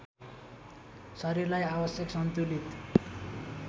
शरीरलाई आवश्यक सन्तुलित